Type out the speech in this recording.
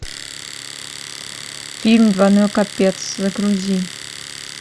фильм двойной капец загрузи